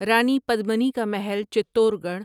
رانی پدمنی کا محل چتور گڑھ